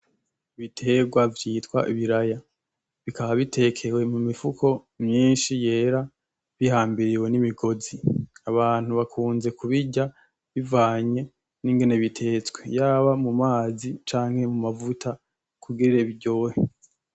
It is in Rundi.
Ibiterwa vyitwa ibiraya bikaba bitekewe mumifuko myinshi yera bihambiriwe nimigozi abantu bakunze kubirya bivanye ningene bitetswe yaba mumazi canke mumavuta kugira biryohe .